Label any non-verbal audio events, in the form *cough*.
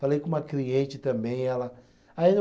Falei com uma cliente também, ela *unintelligible*